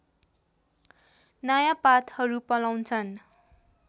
नयाँ पातहरू पलाउनछन्